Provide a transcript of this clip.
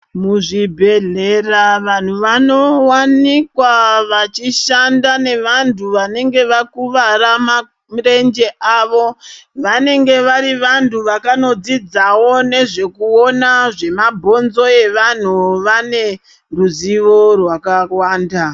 Muzvibhedhlera vanhu vanowanikwa vachishanda nevantu vanenge vakuwara mamirenje avo vanenge vari vantu vakanodzidzawo nezvekuona zvemabhonzo evanhu vane ruzivo rwakawanda.